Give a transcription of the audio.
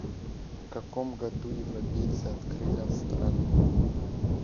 в каком году европейцы открыли австралию